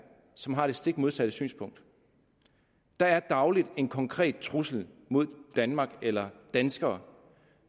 som har det stik modsatte synspunkt der er dagligt en konkret trussel mod danmark eller danskere